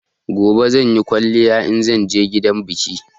Gobe zanyi kwaliya inzan je gidan biki